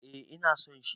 Eh ina son shi.